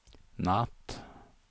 natt